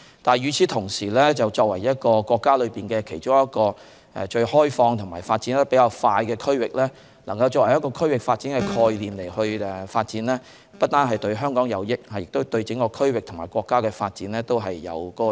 但是，與此同時，作為國家其中一個最開放、發展較快的區域，能夠以區域發展的概念發展，不單對香港有益，亦對整個區域和國家的發展有益。